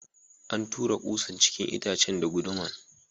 An tura kusan cikin itacen da gunduman.